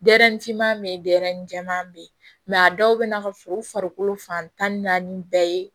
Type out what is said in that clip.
Den finman bɛ yen dɛ yɛrɛnin jɛman bɛ ye a dɔw bɛ na ka sɔrɔ u farikolo fan tan ni naani bɛɛ ye